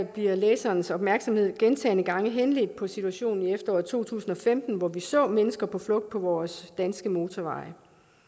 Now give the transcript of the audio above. bliver læserens opmærksomhed i bemærkningerne gentagne gange henledt på situationen i efteråret to tusind og femten hvor vi så mennesker på flugt på vores danske motorveje